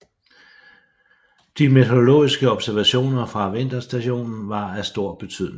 De meteorologiske observationer fra vinterstationen var af stor betydning